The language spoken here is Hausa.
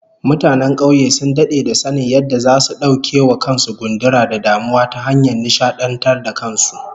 Mutanen kauye sun dade da sanin yadda zasu dauke wa kan su gundura da damuwa ta hanyar nishadantar da kan su